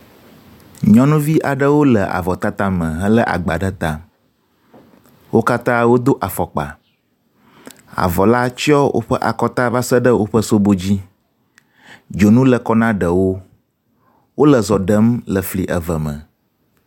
Nyɔnuvi aɖewo le avɔtata me helé agba ɖe ta. Wo katã wodo afɔkpa, avɔ la tsyɔ woƒe akɔta va se ɖe woƒe sobo dzi. Dzonu le kɔ na ɖewo. Wole zɔ ɖem le fli eve me.